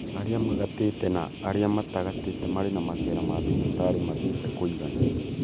Arĩa magatĩte na arĩa matagatĩte marĩ na macera ma thibitarĩ mathiĩte kũiganana